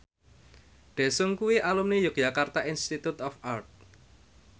Daesung kuwi alumni Yogyakarta Institute of Art